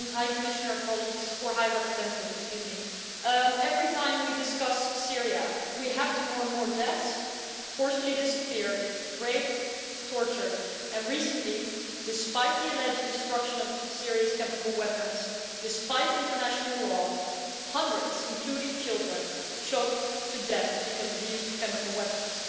High Commissioner, colleagues, or High Representative, excuse me every time we discuss Syria we have to mourn more deaths, more who have forcibly disappeared or been raped or tortured, and recently despite the alleged destruction of Syria's chemical weapons, despite international law hundreds, including children, choked to death because of the use of chemical weapons.